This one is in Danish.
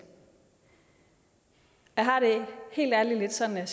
jeg har det helt ærligt lidt sådan at